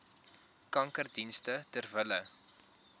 kankerdienste ter wille